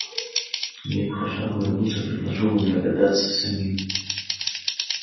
нет пожалуй я лучше предложу вам догадаться самим